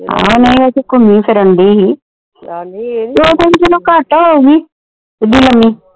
ਆਹੋ ਨਹੀਂ ਇਹ ਤਾ ਘੁੰਮੀ ਫਿਰਨ ਦੀ ਹੀ ਆਪਣੀ ਤੋਂ ਘੱਟ ਹੋਊਗੀ ਕਿਡੀ ਲੰਮੀ